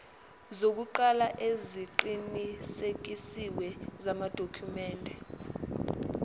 zokuqala eziqinisekisiwe zamadokhumende